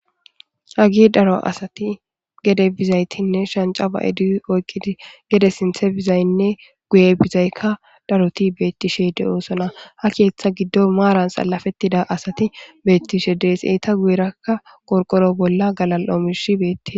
Hagey daro asati gede bizaytinne shanca ba'idi oykidi gede sinthe bizayinne guye bizayka daroti betishe , ha keetha gidon Marani salafetida asati betishe Desi, eta guyeraka qorqoro bolla galal'o mishiy betesi.